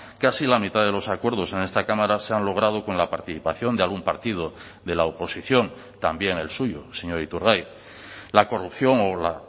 casi la mitad de los acuerdos en esta cámara se han logrado con la participación de algún partido de la oposición también el suyo señor iturgaiz la corrupción o la